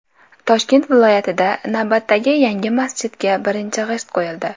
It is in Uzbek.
Toshkent viloyatida navbatdagi yangi masjidga birinchi g‘isht qo‘yildi.